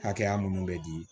Hakɛya minnu bɛ di